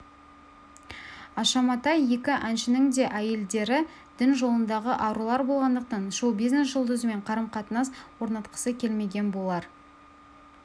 аша матай екі әншінің де әйелдері дін жолындағы арулар болғандықтан шоу-бизнес жұлдызымен қарым-қатынас орнатқысы келмеген болар